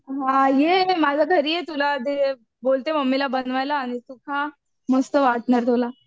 हां ये माझ्या घरी ये तुला ते बोलते मम्मीला बनवायला आणि तू खा. मस्त वाटणार तुला.